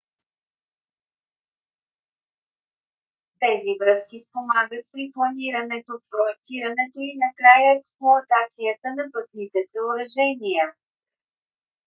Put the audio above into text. тези връзки спомагат при планирането проектирането и накрая експлоатацията на пътните съоръжения